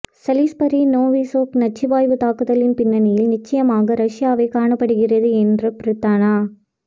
Salisbury Novichok நச்சுவாயுத் தாக்குதலின் பின்னணியில் நிச்சயமாக ரஷ்யாவே காணப்படுகிறது என்ற பிரித்தான